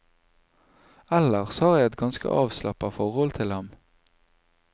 Ellers har jeg et ganske avslappa forhold til ham.